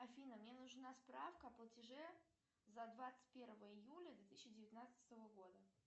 афина мне нужна справка о платеже за двадцать первое июля две тысячи девятнадцатого года